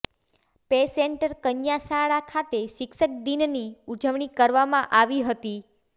પેસેન્ટર કન્યાશાળા ખાતે શિક્ષક દીનની ઉજવણી કરવામાં આવી હતી